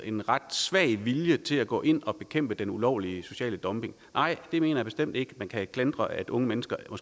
en ret svag vilje til at gå ind og bekæmpe den ulovlige sociale dumping nej jeg mener bestemt ikke at man kan klandre unge mennesker for